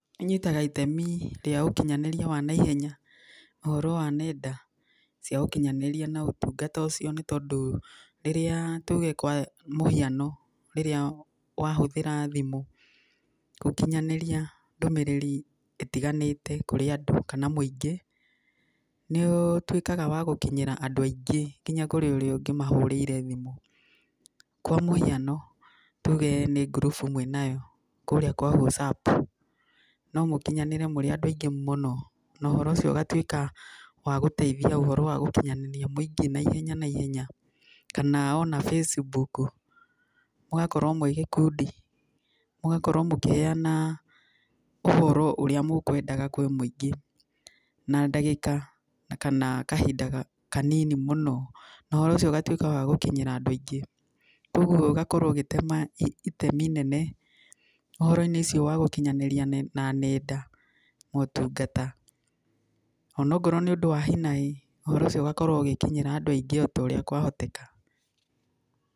Ĩnyitaga itemi rĩa ũkinyanĩria wa naihenya, ũhoro wa nenda cia ũkinyanĩrĩa na ũtungata ũcio, nĩ tondũ rĩrĩa tuge kwa mũhiano rĩrĩa wahũthĩra thimũ, gũkinyanĩria ndũmĩrĩri ĩtiganĩte kũrĩ andũ kana mũingĩ, nĩũtuĩkaga wa gũkinyĩra andũ aingĩ, nginya kũrĩ ũrĩa ũngĩmahũrĩire thimũ. Kwa mũhiano, tuge nĩ ngurubu mwĩnayo, kũrĩa kwa WhatsApp, nomũkinyanĩre mũrĩ andũ aingĩ mũno no ũhoro ũcio ũgatuĩka wa gũteithia gũkinyanĩria mũingĩ naihenya naihenya, kana ona facebook, mũgakorwo mwĩ gĩkundi, mũgakorwo mũkĩheyana ũhoro ũrĩa mũkwendaga kwĩ mũingĩ na ndagĩka, kana kahinda kanini mũno, no ũhoro ũcio ũgatuĩka wa gũkinyĩra andũ aingĩ. Koguo ĩgakorwo ũgĩtema itemi inene ũhoro-inĩ ũcio wa gũkinyanĩrĩa na nenda, motungata. Onakorwo nĩ ũndũ wa hinahi, ũhoro ũcio ũgakorwo ũgĩkinyĩra andũ aingĩ o ũrĩa kwahoteka.